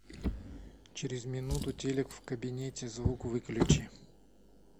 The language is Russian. через минуту телек в кабинете звук выключи